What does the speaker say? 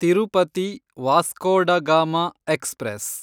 Tirupati Vasco da Gama express